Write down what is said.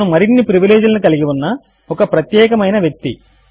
అతను మరిన్ని ప్రివిలేజ్ లను కలిగి ఉన్న ఒక ప్రత్యేకము అయిన వ్యక్తి